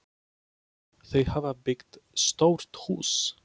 Þau hafa byggt stórt hús.